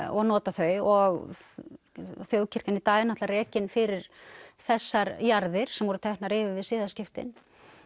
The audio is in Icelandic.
og nota þau og þjóðkirkjan í dag er náttúrulega rekin fyrir þessar jarðir sem voru teknar yfir við siðaskiptin